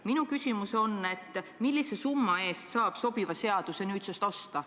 Minu küsimus on: millise summa eest saab nüüdsest osta sobiva seaduse?